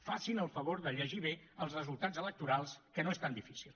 facin el favor de llegir bé els resultats electorals que no és tan difícil